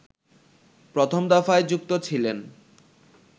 প্রথম দফায় যুক্ত ছিলেন